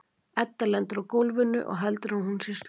Edda lendir á gólfinu og heldur að nú sé hún sloppin.